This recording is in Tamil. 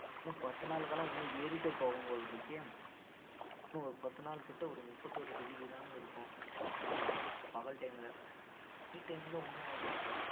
இன்னும் பத்து நாளுக்குலாம் இன்னும் ஏறிட்டே போகும் போல இருக்கே இன்னும் ஒரு பத்து நாளு கிட்ட இன்னும் ஒரு முப்பத்தொரு degree தாங்க இருக்கும் அதாவது பகல் time ல நான் night time ல இன்னும்